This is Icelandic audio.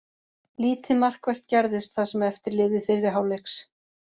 Lítið markvert gerðist það sem eftir lifði fyrri hálfleiks.